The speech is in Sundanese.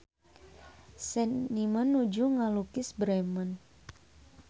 Seniman nuju ngalukis Bremen